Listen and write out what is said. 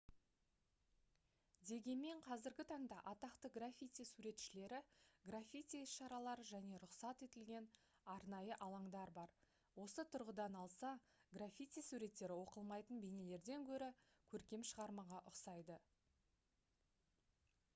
дегенмен қазіргі таңда атақты граффити суретшілері граффити іс-шаралары және рұқсат етілген арнайы алаңдар бар осы тұрғыдан алса граффити суреттері оқылмайтын бейнелерден гөрі көркем шығармаға ұқсайды